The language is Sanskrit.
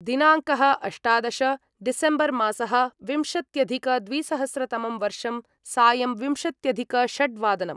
दिनाङ्कः अष्टादश डिसेम्बर्मासः विंशत्यधिकद्विसहस्रतमं वर्षं सायं विम्शत्यधिकषड्वादनम्